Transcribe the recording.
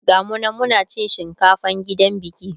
gamu nan Muna cin shinkafan gidan biki